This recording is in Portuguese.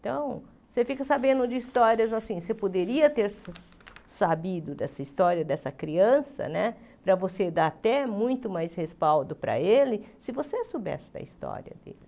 Então, você fica sabendo de histórias assim, você poderia ter sabido dessa história dessa criança né, para você dar até muito mais respaldo para ele, se você soubesse da história dele.